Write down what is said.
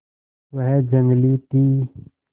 वह जंगली थी